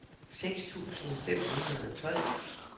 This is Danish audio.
seks tusind fem hundrede og tolv